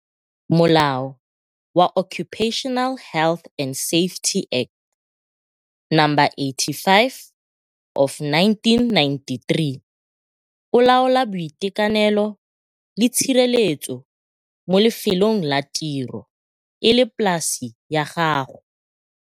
Molao wa Occupational Health and Safety Act, No. 85 of 1993, o laola boitekanelo le tshireletso mo lefelong la tiro, e le polase ya gago.